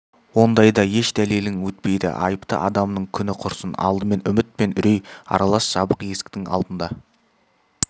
ондайда еш дәлелің өтпейді айыпты адамның күні құрсын алдымен үміт пен үрей аралас жабық есіктің алдында